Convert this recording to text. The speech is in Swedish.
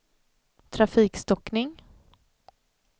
trafikstockning